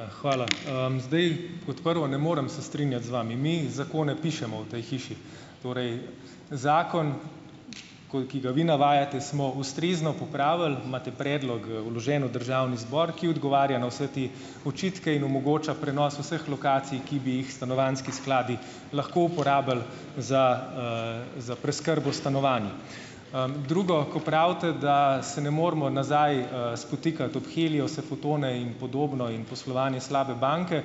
Ja, hvala. zdaj kot prvo ne morem se strinjati z vami - mi zakone pišemo v tej hiši, torej, zakon, ko ki ga vi navajate, smo ustrezno popravili, imate predlog, vložen v državni zbor, ki odgovarja na vse te očitke in omogoča prenos vseh lokacij, ki bi jih stanovanjski skladi lahko uporabili za, za preskrbo stanovanj. drugo. Ko pravite, da se ne moremo nazaj, spotikati ob Heliose, Futone in podobno in poslovanje slabe banke,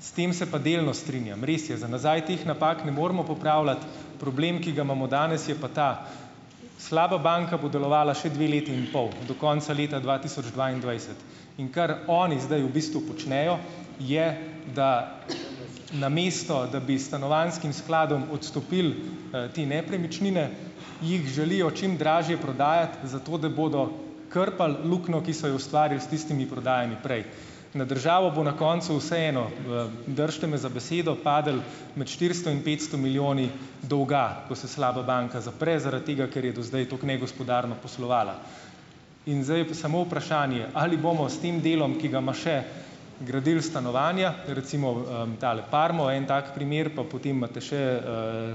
s tem se pa delno strinjam. Res je, za nazaj teh napak ne moremo popravljati, problem, ki ga imamo danes, je pa ta. Slaba banka bo delovala še dve leti in pol, do konca leta dva tisoč dvaindvajset, in kar oni zdaj v bistvu počnejo, je, da namesto, da bi stanovanjskim skladom odstopili, te nepremičnine, jih želijo čim dražje prodajati, zato da bodo krpali luknjo, ki so jo ustvarili s tistimi prodajami prej. Na državo bo na koncu vseeno, držite me za besedo, padlo med štiristo in petsto milijoni dolga, ko se slaba banka zapre, zaradi tega, ker je do zdaj tako negospodarno poslovala. In zdaj je pa samo vprašanje, ali bomo s tem delom, ki ga ima še, gradili stanovanja, recimo, tale Parmova je en tak primer, pa potem imate še,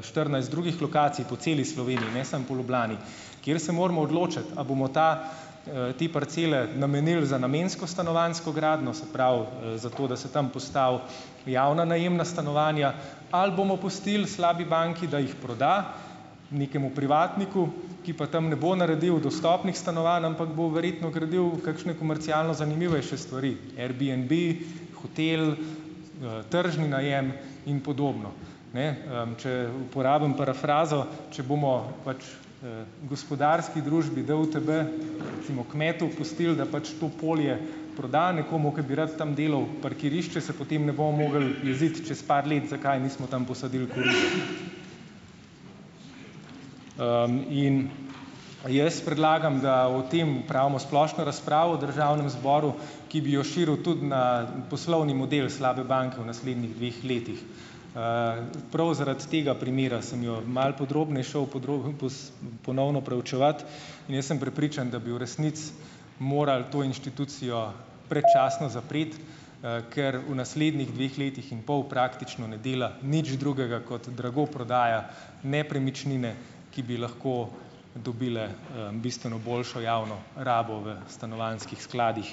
štirinajst drugih lokacij po celi Sloveniji, ne samo po Ljubljani, kjer se moramo odločiti, a bomo ta, te parcele namenili za namensko stanovanjsko gradnjo, se pravi, za to, da se tam postavi javna najemna stanovanja, ali bomo pustili slabi banki, da jih proda nekemu privatniku, ki pa tam ne bo naredil dostopnih stanovanj, ampak bo verjetno gradil kakšne komercialno zanimivejše stvari - Airbnb, hotel, tržni najem in podobno. Ne, če uporabim parafrazo, če bomo pač, gospodarski družbi DUTB, recimo kmetu pustili, da pač to polje proda nekomu, ki bi rad tam delal parkirišče, se potem ne bomo mogli jeziti čez par let, zakaj nismo tam posadili. in jaz predlagam, da o tem opravimo splošno razpravo v državnem zboru, ki bi jo širili tudi na poslovni model slabe banke v naslednjih dveh letih. Prav zaradi tega primera sem jo malo šel ponovno proučevat in jaz sem prepričan, da bi v resnici moral to inštitucijo predčasno zapreti, ker v naslednjih dveh letih in pol praktično ne dela nič drugega kot drago prodaja nepremičnine, ki bi lahko dobile, bistveno boljšo javno rabo v stanovanjskih skladih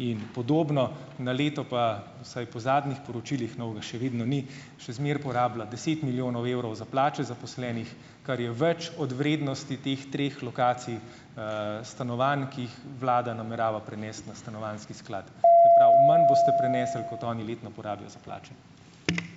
in podobno. Na leto pa, vsaj po zadnjih poročilih, novega še vedno ni, še zmeraj porabila deset milijonov evrov za plače zaposlenih, kar je več od vrednosti teh treh lokacij, stanovanj, ki vlada namerava prenesti na stanovanjski sklad. Se pravi manj boste prenesli, kot oni letno porabijo za plače.